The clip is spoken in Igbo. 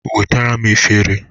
Wetara m efere